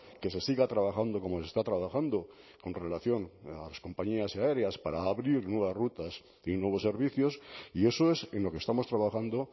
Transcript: que se siga trabajando como se está trabajando con relación a las compañías aéreas para abrir nuevas rutas nuevos servicios y eso es en lo que estamos trabajando